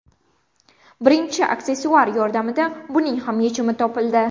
Birgina aksessuar yordamida buning ham yechimi topildi.